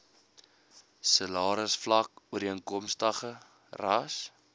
salarisvlak ooreenkomstig ras